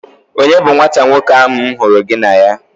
Onye bu nwata nwoke ahụ m hụrụ gị na ya?